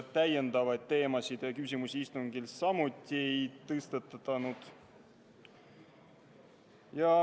Täiendavaid teemasid ja küsimusi istungil samuti ei tõstatatud.